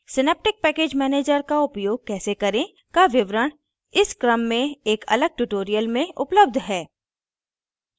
synaptic package manager का उपयोग कैसे करें का विवरण इस क्रम में एक अलग tutorial में उपलब्ध है